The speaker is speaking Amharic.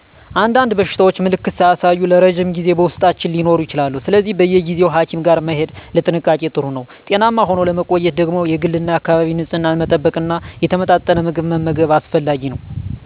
አንዳንድ በሽታዎች ምልክት ሳያሳዩ ለረዥም ጊዜ በውስጣችን ሊኖሩ ይችላሉ። ስለዚህ በየጊዜው ሀኪም ጋር መሄድ ለጥንቃቄ ጥሩ ነው። ጤናማ ሆኖ ለመቆየት ደግሞ የግልና የአካባቢን ንፅህና መጠበቅና የተመጣጠነ ምግብ መመገብ አስፈላጊ ነው።